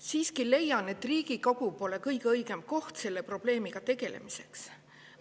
Siiski leian, et Riigikogu pole kõige õigem koht selle probleemiga tegelemiseks.